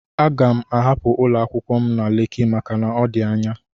Aga m ahapụ ụlọ akwụkwọ m na Leki maka na ọ dị anya.